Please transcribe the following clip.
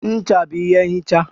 Ncha bụ ihe nhicha.